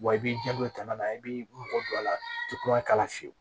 Wa i b'i jando tana la i b'i mɔgɔ don a la i tɛ kura k'a la fiyewu